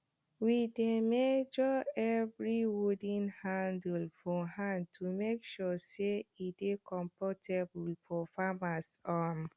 we dey measre evri wooden handle for hand to make sure say e dey comfortable for farmers um